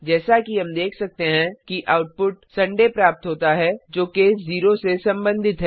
जैसा कि हम देख सकते हैं कि आउटपुट सुंदय रविवार प्राप्त होता है जो केस 0 से संबंधित है